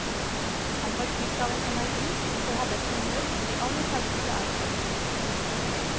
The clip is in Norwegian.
Han var fylt av en energi, og hadde et humør som de aller færreste er forunt.